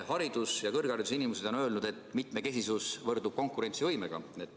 Haridus- ja kõrgharidusinimesed on öelnud, et mitmekesisus võrdub konkurentsivõimega.